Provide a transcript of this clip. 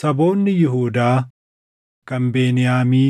Saboonni Yihuudaa, kan Beniyaamii,